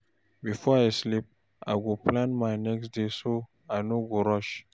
Before I sleep, I go plan my next day so I no go rush.